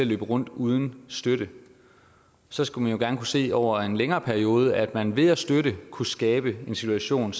løbe rundt uden støtte så skulle man jo gerne kunne se over en længere periode at man ved at støtte kunne skabe en situation